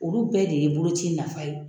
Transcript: Olu bɛɛ de ye boloci nafa ye.